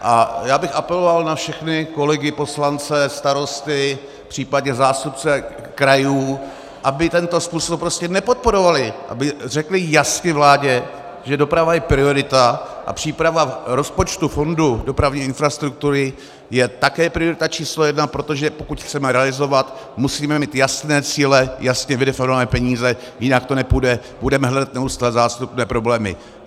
A já bych apeloval na všechny kolegy poslance, starosty případně zástupce krajů, aby tento způsob prostě nepodporovali, aby řekli jasně vládě, že doprava je priorita a příprava rozpočtu fondu dopravní infrastruktury je také priorita číslo jedna, protože pokud chceme realizovat, musíme mít jasné cíle, jasně vydefinované peníze, jinak to nepůjde, budeme hledat neustále zástupné problémy.